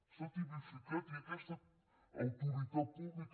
s’ha tipificat i aquesta autoritat pública